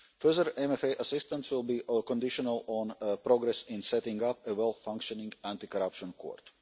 Further MFA assistance will be conditional on progress in setting up a well-functioning anti corruption court.